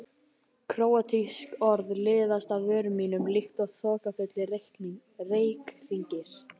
Króatísk orð liðast af vörum mínum líkt og þokkafullir reykhringir.